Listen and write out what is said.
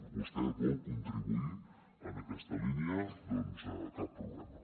vostè vol contribuir en aquesta línia doncs cap problema